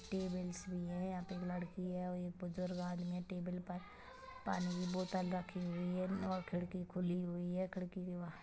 tables भी है यहाँ पे एक लड़की है और एक बुजुर्ग आदमी है टेबल पर पानी की बोतल रखी हुई है और खिड़की खुली हुई है खिड़की के--